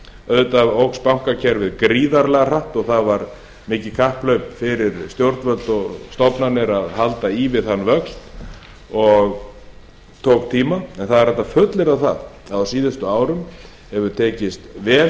auðvitað jókst bankakerfið gríðarlega hratt og það var mikið kapphlaup fyrir stjórnvöld og stofnanir að halda í við þann vöxt og tók tíma en það er hægt að fullyrða það að á síðustu árum hefur tekist vel